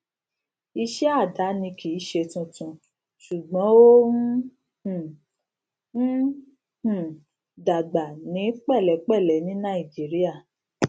iṣẹ àdáni kì í ṣe tuntun ṣùgbọn ó ń um ń um dàgbà ní pẹlẹpẹlẹ ní nàìjíríà